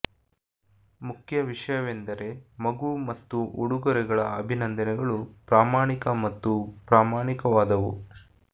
ಮುಖ್ಯ ವಿಷಯವೆಂದರೆ ಮಗು ಮತ್ತು ಉಡುಗೊರೆಗಳ ಅಭಿನಂದನೆಗಳು ಪ್ರಾಮಾಣಿಕ ಮತ್ತು ಪ್ರಾಮಾಣಿಕವಾದವು